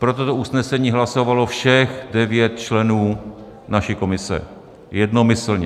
Pro toto usnesení hlasovalo všech devět členů naší komise jednomyslně.